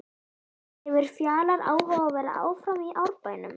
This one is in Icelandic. Hefur Fjalar áhuga á að vera áfram í Árbænum?